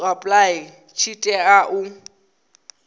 to apply tshi tea u